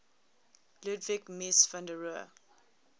ludwig mies van